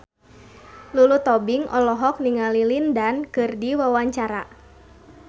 Lulu Tobing olohok ningali Lin Dan keur diwawancara